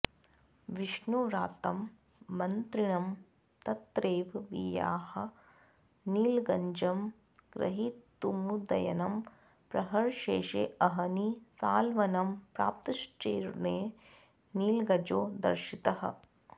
विष्णुव्रातं मन्त्रिणं तत्रैव विहाय नीलगजं ग्रहीतुमुदयनः प्रहरशेषेऽहनि सालवनं प्राप्तश्चरेण नीलगजो दर्शितः